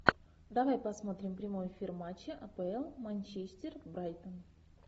давай посмотрим прямой эфир матча апл манчестер брайтон